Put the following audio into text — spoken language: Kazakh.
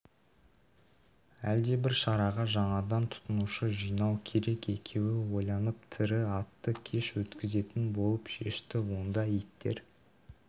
әлдебір шараға жаңадан тұтынушы жинау керек екеуі ойланып тірі атты кеш өткізетін болып шешті онда иттер